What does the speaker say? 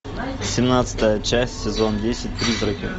семнадцатая часть сезон десять призраки